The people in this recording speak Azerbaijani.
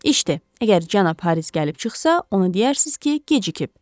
İşdi, əgər cənab Haris gəlib çıxsa, ona deyərsiniz ki, gecikib.